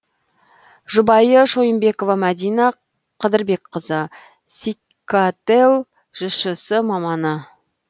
жұбайы шойынбекова мәдина қыдырбекқызы секател жшс маманы